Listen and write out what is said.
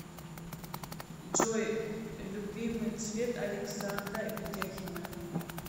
джой любимый цвет александра ведяхина